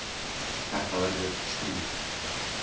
Þetta verður stríð.